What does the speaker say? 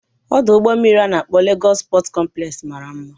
Ọdụ ụgbọ mmiri a na-akpọ Legos Pọt kọmplex mara mma